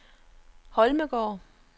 Holmegaard